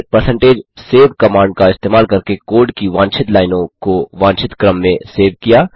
फिर percentage save command का इस्तेमाल करके कोड की वांछित लाइनों को वांछित क्रम में सेव किया